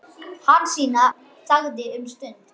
Hansína þagði um stund.